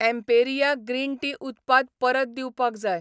Emperia green tea उत्पाद परत दिवपाक जाय.